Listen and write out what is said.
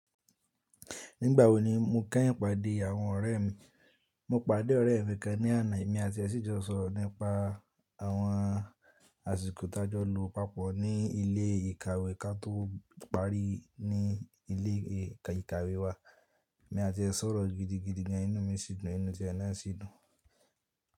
Nígbà wo ni mo kẹ́yin pàdé àwọn ọ̀rẹ́ mi? Mo pàdé ọ̀rẹ́ ẹ̀ mi kan ní àná, èmi àti ẹ ṣì jọ sọ̀rọ̀ nípa àwọn àsìkò tájọ́ lo papọ̀ ní ilé ìkàwe ka tó parí ní ilé ìkàwe wa. Èmi àti ẹ sọ̀rọ̀ gidigidi inú mi sì dùn, bẹni inu tí ẹ náà sì dùn.